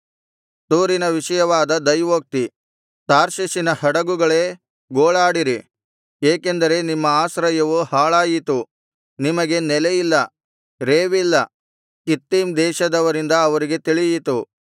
ತೂರಿನ ವಿಷಯವಾದ ದೈವೋಕ್ತಿ ತಾರ್ಷೀಷಿನ ಹಡಗುಗಳೇ ಗೋಳಾಡಿರಿ ಏಕೆಂದರೆ ನಿಮ್ಮ ಆಶ್ರಯವು ಹಾಳಾಯಿತು ನಿಮಗೆ ನೆಲೆಯಿಲ್ಲ ರೇವಿಲ್ಲ ಕಿತ್ತೀಮ್ ದೇಶದವರಿಂದ ಅವರಿಗೆ ತಿಳಿಯಿತು